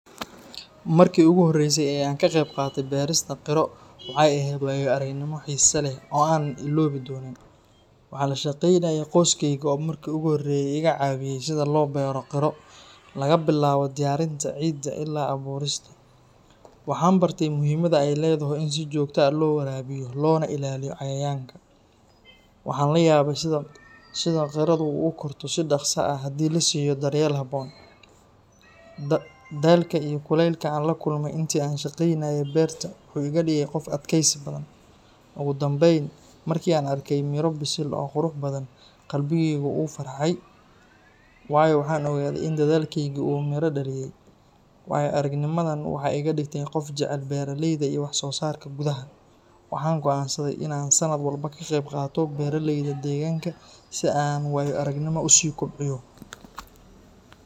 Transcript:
Markii ugu horreysay ee aan ka qaybqaatay beerista qiro, waxay ahayd waayo-aragnimo xiiso leh oo aanan iloobi doonin. Waxaan la shaqaynayay qoyskayga oo markii hore iga caawiyay sida loo beero qiro, laga bilaabo diyaarinta ciidda ilaa abuurista. Waxaan bartay muhiimadda ay leedahay in si joogto ah loo waraabiyo, loona ilaaliyo cayayaanka. Waxaan la yaabay sida qirodu u korto si dhaqso ah haddii la siiyo daryeel habboon. Daalka iyo kulaylka aan la kulmay intii aan ka shaqaynayay beerta wuxuu iga dhigay qof adkaysi badan. Ugu dambeyn, markii aan arkay miro bisil oo qurux badan, qalbigaygu wuu farxay, waayo waxaan ogaaday in dadaalkaygii uu midho dhaliyay. Waayo-aragnimadan waxay iga dhigtay qof jecel beeralayda iyo wax-soo-saarka gudaha. Waxaan go’aansaday in aan sannad walba ka qaybqaato beeralayda deegaanka si aan waayo-aragnimo u sii kobciyo.